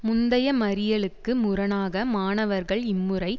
முந்தைய மறியலுக்கு முரணாக மாணவர்கள் இம்முறை